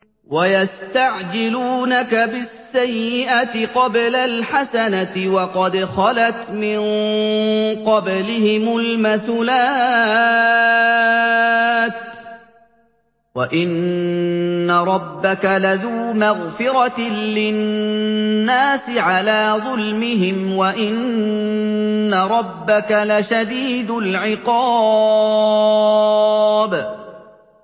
وَيَسْتَعْجِلُونَكَ بِالسَّيِّئَةِ قَبْلَ الْحَسَنَةِ وَقَدْ خَلَتْ مِن قَبْلِهِمُ الْمَثُلَاتُ ۗ وَإِنَّ رَبَّكَ لَذُو مَغْفِرَةٍ لِّلنَّاسِ عَلَىٰ ظُلْمِهِمْ ۖ وَإِنَّ رَبَّكَ لَشَدِيدُ الْعِقَابِ